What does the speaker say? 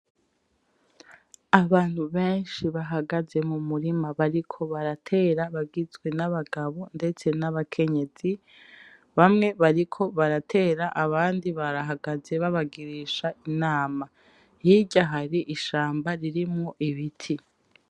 Abantu benshi bahagaze mumurima bariko baratera bagizwe n'abagabo ndetse n'abakenyezi bamwe bariko baratera abandi barahagaze babagirisha inama. hirya hari ishamba ririmwo ibiti.